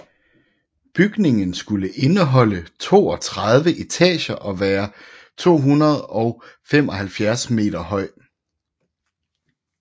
Bygningen skulle indeholde 32 etager og være 275 meter høj